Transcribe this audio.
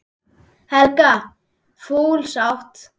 Helga: Full sátt?